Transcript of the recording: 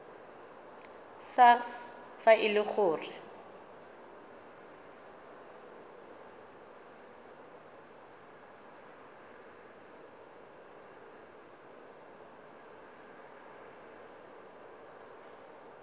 sars fa e le gore